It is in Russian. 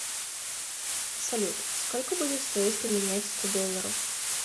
салют сколько будет стоить поменять сто долларов